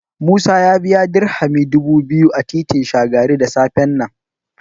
Musa ya biya Dirhami dubu biyu a titin Shagari da safen nan.